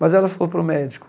Mas ela falou para o médico,